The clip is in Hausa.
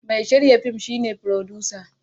Mai shirya fin shi ne furodusa.